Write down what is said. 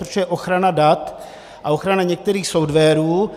Protože ochrana dat a ochrana některých softwarů